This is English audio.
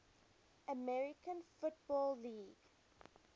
american football league